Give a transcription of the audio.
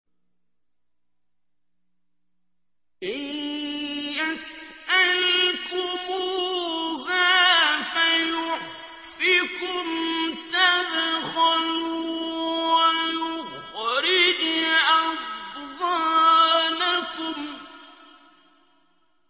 إِن يَسْأَلْكُمُوهَا فَيُحْفِكُمْ تَبْخَلُوا وَيُخْرِجْ أَضْغَانَكُمْ